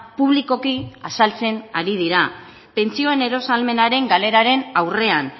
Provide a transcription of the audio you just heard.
publikoki azaltzen ari dira pentsioen eros ahalmenaren galeraren aurrean